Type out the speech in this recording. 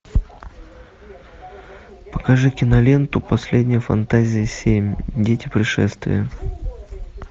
покажи киноленту последняя фантазия семь дети пришествия